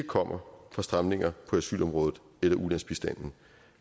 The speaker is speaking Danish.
kommer fra stramninger på asylområdet eller ulandsbistanden